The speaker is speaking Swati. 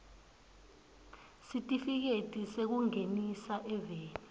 sitifiketi sekungenisa eveni